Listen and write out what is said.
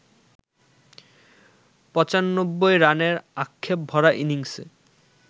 ৯৫ রানের আক্ষেপভরা ইনিংসে